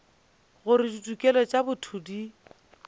gore ditokelo tša botho di